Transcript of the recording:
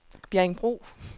Bjerringbro